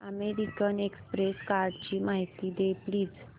American Express कार्डची माहिती दे प्लीज